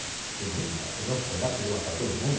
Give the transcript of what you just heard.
Fiquei muito macho, tomei uns conhaques, queria matar todo mundo.